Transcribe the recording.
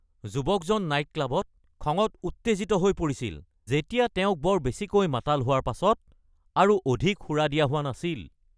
যুৱকজন নাইট ক্লাবত খঙত উত্তেজিত হৈ পৰিছিল যেতিয়া তেওঁক বৰ বেছিকৈ মাতাল হোৱাৰ পাছত আৰু অধিক সুৰা দিয়া হোৱা নাছিল।